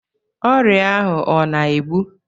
Ọrịa ahụ ọ na-egbu?